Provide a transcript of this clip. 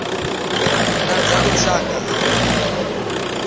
na dza lushaka a dzi